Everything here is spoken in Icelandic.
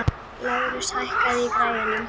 Lárus, hækkaðu í græjunum.